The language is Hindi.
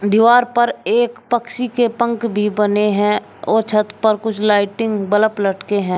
दीवार पर एक पक्षी के पंख भी बने हैं और छत पर कुछ लाइटिंग बल्ब लटके हैं।